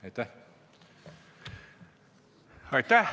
Aitäh!